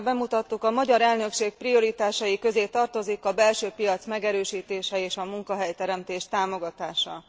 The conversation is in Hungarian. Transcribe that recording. Mint tegnap bemutattuk, a magyar elnökség prioritásai közé tartozik a belső piac megerősítése és a munkahelyteremtés támogatása.